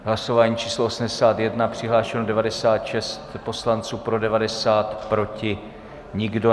Hlasování číslo 81, přihlášeno 96 poslanců, pro 90, proti nikdo.